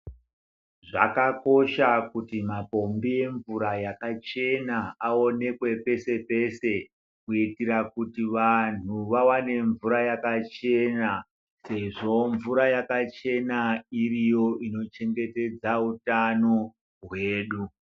Zvakakosha kuti mapombi emvura yakachena, awonekwe peshe-peshe ,kuyitira kuti vanhu vawane mvura yakachena ,sezvo mvura yakachena iriyo inochengetedza utano hwedu.